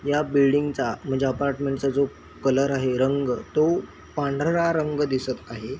ह्या बिल्डिंगचा म्हणजे अपार्टमेंटचा जो कलर आहे रंग तो पांढरा रंग दिसत आहे.